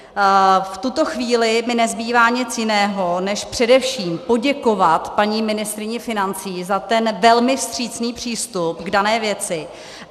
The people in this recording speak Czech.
V tuto chvíli mi nezbývá nic jiného, než především poděkovat paní ministryni financí za ten velmi vstřícný přístup k dané věci.